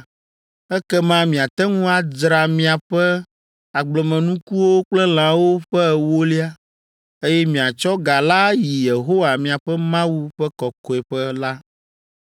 ekema miate ŋu adzra miaƒe agblemenukuwo kple lãwo ƒe ewolia, eye miatsɔ ga la ayi Yehowa miaƒe Mawu ƒe kɔkɔeƒe la.